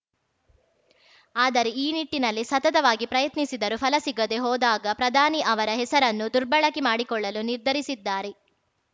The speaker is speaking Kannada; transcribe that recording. ಆದರೆ ಈ ನಿಟ್ಟಿನಲ್ಲಿ ಸತತವಾಗಿ ಪ್ರಯತ್ನಿಸಿದರೂ ಫಲ ಸಿಗದೆ ಹೋದಾಗ ಪ್ರಧಾನಿ ಅವರ ಹೆಸರನ್ನು ದುರ್ಬಳಕೆ ಮಾಡಿಕೊಳ್ಳಲು ನಿರ್ಧರಿಸಿದ್ದಾರೆ